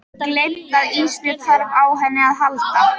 Gleymt að Ísbjörg þarf á henni að halda.